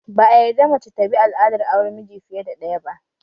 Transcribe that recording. Ba'a yarda mace ta bi al'adar auren miji fiye ɗaya ba